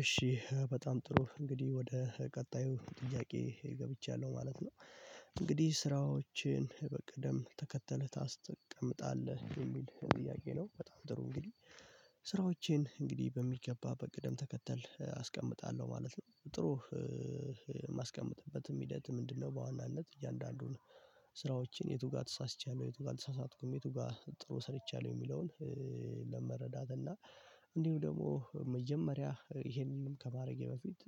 እሺ በጣም ጥሩ እንግዲህ ወደ ቀጣዩ ጥያቄ ገብቻለሁ ማለት ነው እንግዲህ ስራዎችን በቅደም ተከተል ታስቀምጣለህ የሚል ጥያቄ ነው በጣም ጥሩ እንግዲህ ስራዎቼን እንግዲህ በሚገባ በቅደም ተከተል አስቀምጣለሁ ማለት ነው። ጥሩ ማስቀመጥበትም ሂደት ምንድነው? በዋናነት እያንዳንዱን ስራዎችን የቱ ጋር ተሳስቻለሁ የቱ ጋር አልተሳሳትኩም የቱ ጋር ጥሩ ሰርቻለሁ የሚለውን ለመረዳት እና እንዲሁ ደግሞ መጀመሪያ ይሄንንም ከማድረጌ በፊት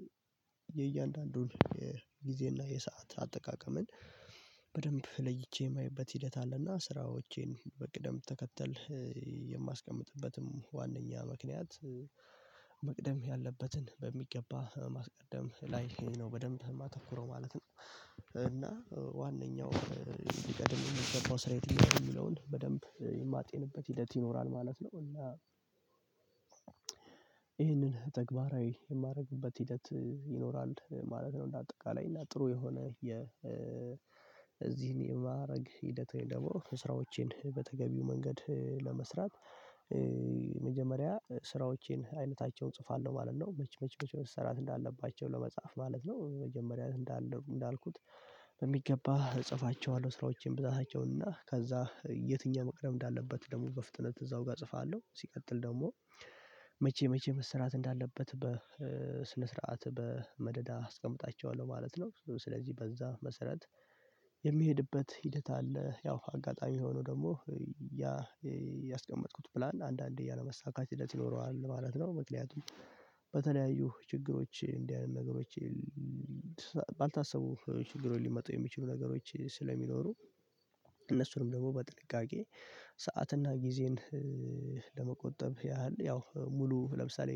የእያንዳንዱን የጊዜና የሰዓት አጠቃቀምን በደንብ ለይቼ የማየበት ሂደት አለና ስራዎቼን በቅደም ተከተል የማስቀምጥበትም ዋናኛ ምክንያት መቅደም ያለበትን በሚገባ ማስቀደም ላይ ነው በደንብ የማተኩረው ማለት ነው። እና ዋነኛው ሊቀድም የሚገባው ስራ የትኛው ነው የሚለውን በደንብ የማጤንበት ሂደት ይኖራል ማለት ነው እና ይህንን ተግባራዊ የማደርግበት ሂደት ይኖራል ማለት ነው። እንደ አጠቃላይ እና ጥሩ የሆነ የዚህን የማድረግ ሂደት ወይም ደግሞ ስራዎቼን በተገቢው መንገድ ለመስራት መጀመሪያ ስራዎቼን አይነታቸው እጽፋለሁ ማለት ነው መቼ መቼ መቼ መሰራት እንዳለባቸው ለመጻፍ ማለት ነው። መጀመሪያ እንዳለው እንዳልኩት በሚገባ እጽፋቸዋለሁ ስራዎችን ብዛታቸውን እና ከዛ የትኛው መቅደም እንዳለበት ደግሞ በፍጥነት እዛው ጋር እጽፋለሁ ሲቀጥል ደግሞ መቼ መቼ መሰራት እንዳለበት በ ስነ ስርዓት በመደዳ አስቀምጣቸዋለሁ ማለት ነው። ስለዚህ በዛ መሰረት የሚሄድበት ሂደት አለ ያው አጋጣሚ የሆነው ደግሞ ያ ያስቀመጥኩት ፕላን አንዳንዴ ያለመሳካት ይኖረዋል ማለት ነው። ምክንያቱም በተለያዩ ችግሮች እንዲህ አይነት ነገሮች ባልታሰቡ ችግሮች ሊመጡ የሚችሉ ነገሮች ስለሚኖሩ እነሱንም ደግሞ በጥንቃቄ ሰዓትና ጊዜን ለመቆጠብ ያህል ያው ሙሉ ለምሳሌ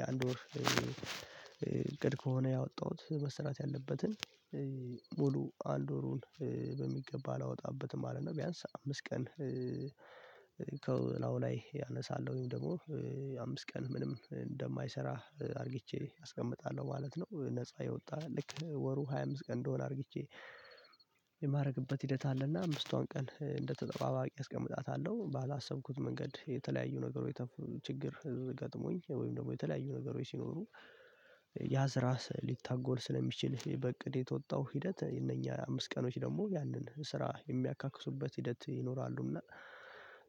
የአንድ ወር እቅድ ከሆነ ያወጣሁት መሰራት ያለበትን ሙሉ አንድ ወሩን በሚገባ አላወጣበትም ማለት ነው። ቢያንስ አምስት ቀን ከላው ላይ ያነሳለውን ደግሞ አምስት ቀን ምንም እንደማይሰራ አድርጌቼ አስቀምጣለሁ ማለት ነው። ነፃ የወጣ ልክ ወሩ ሃያ አምስትቀን እንደሆነ አድርጌቼ የማድረግበት ሂደት አለና አምስቷን ቀን እንደተጠባባቂ አስቀምጣታለሁ ባላሰብኩት መንገድ የተለያዩ ነገሮች ችግር ገጥሞኝ ወይም ደግሞ የተለያዩ ነገሮች ሲኖሩ ያዝ ራስ ሊታጎል ስለሚችል በእቅድ የተወጣው ሂደት እነኛ አምስት ቀኖች ደግሞ ያንን ስራ የሚያካክሱበት ሂደት ይኖራሉ እና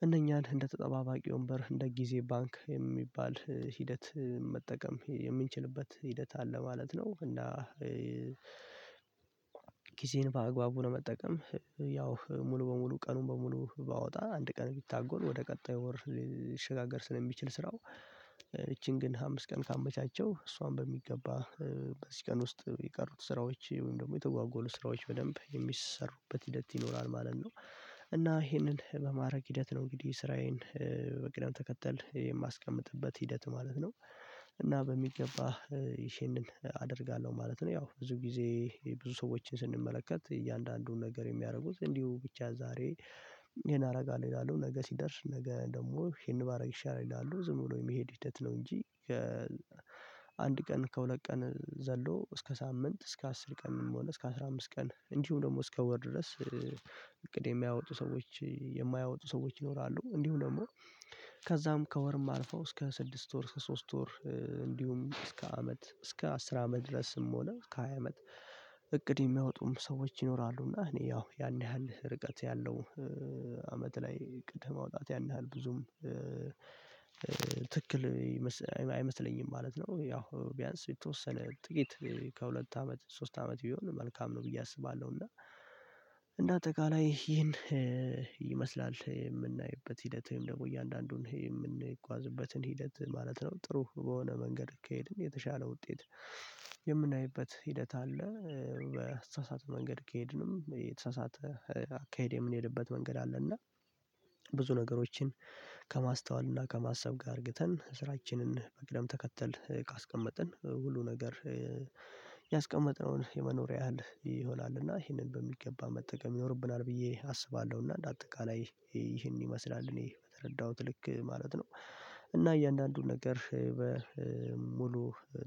እነኛን እንደ ተጠባባቂ ወንበር እንደ ጊዜ ባንክ የሚባል ሂደት መጠቀም የምንችልበት ሂደት አለ ማለት ነው። እና ጊዜን በአግባቡ ነው መጠቀም ያው ሙሉ በሙሉ ቀኑን በሙሉ ባወጣ አንድ ቀን ቢታጎል ወደ ቀጣዩ ወር ሊሸጋገር ስለሚችል ስራው ይቺን ግን አምስት ቀን ካመቻቸው እሷን በሚገባ በዚህ ቀን ውስጥ የቀሩት ስራዎች ወይም ደግሞ የተጓጎሉ ስራዎች በደንብ የሚሰሩበት ሂደት ይኖራል ማለት ነው። እና ይሄንን በማድረግ ሂደት ነው እንግዲህ ስራዬን በቅደም ተከተል የማስቀምጥበት ሂደት ማለት ነው እና በሚገባ ይሄንን አደርጋለሁ ማለት ነው። ያው ብዙ ጊዜ ብዙ ሰዎችን ስንመለከት እያንዳንዱን ነገር የሚያደርጉት እንዲሁ ብቻ ዛሬ ይሄን አደርጋለሁ ይላሉ ነገ ሲደርስ ነገ ደግሞ ይሄን ባደርግ ይሻላል ይላሉ ዝም ብሎ የሚሄድ ሂደት ነው እንጂ ከአንድ ቀን ከሁለት ቀን ዘሎ እስከ ሳምንት እስከ አስር ቀንም ሆነ እስከ አስራ አምስት ቀን እንዲሁ ደግሞ እስከ ወር ድረስ እቅድ የሚያወጡ ሰዎች የማያወጡ ሰዎች ይኖራሉ እንዲሁ ደግሞ ከዛም ከወርም አልፈው እስከ ስድስት ወር እስከ ሶስት ወር እንዲሁም እስከ አመት እስከ አስር አመት ድረስም ሆነ ከሃያ አመት እቅድ የሚያወጡም ሰዎች ይኖራሉ እና እኔ ያው ያን ያህል ርቀት ያለው አመት ላይ እቅድ የማውጣት ያን ያህል ብዙም ትክክል አይመስለኝም ማለት ነው። ያው ቢያንስ የተወሰነ ጥቂት ከሁለት አመት ሶስት አመት ቢሆን መልካም ነው ብዬ አስባለሁ እና እንደ አጠቃላይ ይሄን ይመስላል የምናይበት ሂደት ወይም ደግሞ እያንዳንዱን የምንጓዝበትን ሂደት ማለት ነው ጥሩ በሆነ መንገድ ከሄድን የተሻለ ውጤት የምናይበት ሂደት አለ። በተሳሳተ መንገድ ከሄድንም የተሳሳተ አካሄድ የምንሄድበት መንገድ አለ እና ብዙ ነገሮችን ከማስተዋልና ከማሰብ ጋር አድርገን ስራችንን በቅደም ተከተል ካስቀመጥን ሁሉ ነገር ያስቀመጥነውን የመኖሪያ ያህል ይሆናል እና ይሄንን በሚገባ መጠቀም ይኖርብናል ብዬ አስባለሁ። እና እንደ አጠቃላይ ይሄን ይመስላል እኔ በተረዳሁት ልክ ማለት ነው እና እያንዳንዱን ነገር በሙሉ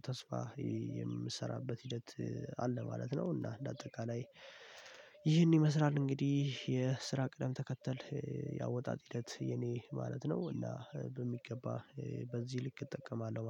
ተስፋ የምሰራበት ሂደት አለ ማለት ነው። እና እንደ አጠቃላይ ይህን ይመስላል እንግዲህ የስራ ቅደም ተከተል ያወጣጥ ሂደት የኔ ማለት ነው እና በሚገባ በዚህ ልክ እጠቀማለሁ